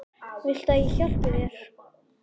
Viltu að ég hjálpi þér?